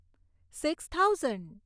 six thousand